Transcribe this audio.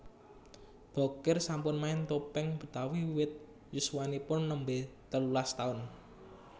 Bokir sampun main topeng Betawi wiwit yuswanipun nembé telulas taun